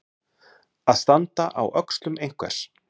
Að standa á öxlum einhvers